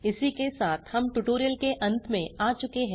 इसी के साथ हम ट्यूटोरियल के अंत में आ चुके हैं